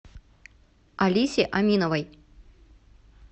алисе аминовой